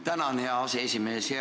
Tänan, hea aseesimees!